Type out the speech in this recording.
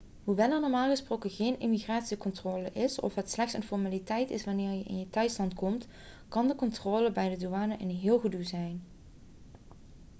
hoewel er normaal gesproken geen immigratiecontrole is of het slechts een formaliteit is wanneer je in je thuisland aankomt kan de controle bij de douane een heel gedoe zijn